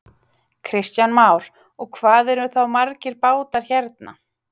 Kristján Már: Og hvað eru þá margir bátar hérna?